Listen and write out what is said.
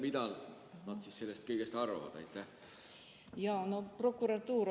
Mida nad sellest kõigest arvavad?